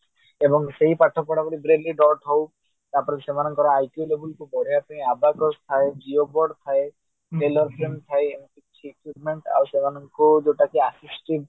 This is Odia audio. ଏବଂ ସେଇ ପାଠ ପଢା ପଢି brainly dot ହଉ ତାପରେ ସେମାନଙ୍କ IQ level କୁ ବଢେଇବା ପାଇଁ ABACUS ଥାଏ geobot ଥାଏ କିଛି equipment ଥାଏ ଆଉ ସେମାନଙ୍କୁ ଯୋଉଟା କି assistive